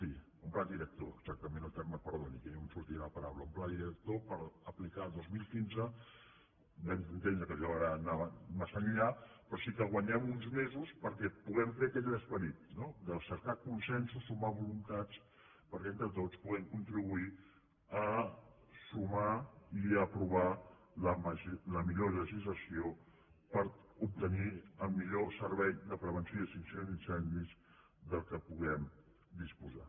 un pla director era exactament el terme perdoni que no em sortia la paraula un pla di·rector per aplicar el dos mil quinze vam entendre que allò ana·va massa enllà però sí que guanyem uns mesos perquè puguem fer aquell esperit no de cercar consensos sumar voluntats perquè entre tots puguem contribuir a sumar i a aprovar la millor legislació per obtenir el millor servei de prevenció i extinció d’incendis del que puguem disposar